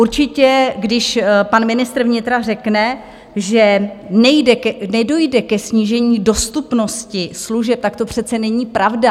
Určitě když pan ministr vnitra řekne, že nedojde ke snížení dostupnosti služeb, tak to přece není pravda.